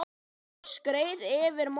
Thomas skreið yfir móann.